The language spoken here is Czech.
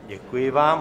Děkuji vám.